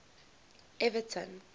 everton